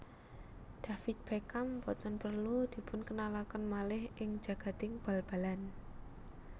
David Beckham boten perlu dipunkenalaken malih ing jagading bal balan